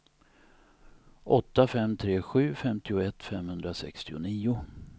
åtta fem tre sju femtioett femhundrasextionio